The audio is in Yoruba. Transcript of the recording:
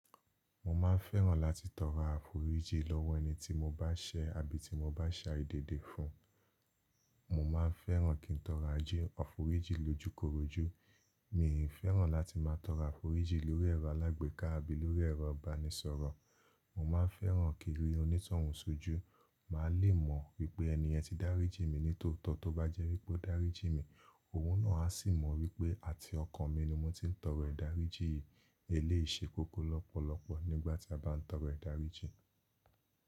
Mo máa ń fẹ́ràn láti tọrọ àforíjí lọ́wọ́ ẹni tí mo bá ṣẹ́, àbí tí mo bá ṣe àìdédé fún-un. Mo máa ń fẹ́ràn kí n tọrọ àjé àforíjí lojúkorojú. Mìí fẹ́ràn láti máa tọrọ àforí jí lórí ẹ̀rọ alágbèéká àbí lórí ẹ̀rọ ìbánisọ̀rọ̀. Mo máa ń fẹ́ràn kí n rí onítọ̀hùn sójú, màá lè mọ̀ wípé ènì yẹn ti dáríjì mí nítọ̀ọ̀tọ́. Tó bá jẹ́ wípé ó dáríjì mí, òun náà á sì mọ̀ wípé, àti ọkàn mi ni mo ti ń tọrọ ìdáríjì yìí. Eléyìí ṣe kókó lọ́pọ̀lọ́pọ̀ nígbàtí a bá ń tọrọ ìdáríjì.